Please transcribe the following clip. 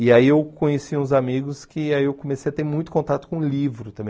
E aí eu conheci uns amigos que aí eu comecei a ter muito contato com livro também.